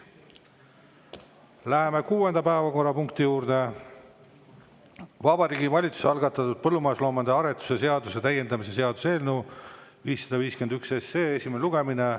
Läheme kuuenda päevakorrapunkti juurde: Vabariigi Valitsuse algatatud põllumajandusloomade aretuse seaduse täiendamise seaduse eelnõu 551 esimene lugemine.